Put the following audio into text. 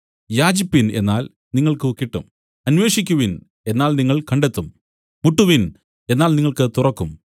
യാചിപ്പിൻ എന്നാൽ നിങ്ങൾക്ക് കിട്ടും അന്വേഷിക്കുവിൻ എന്നാൽ നിങ്ങൾ കണ്ടെത്തും മുട്ടുവിൻ എന്നാൽ നിങ്ങൾക്ക് തുറക്കും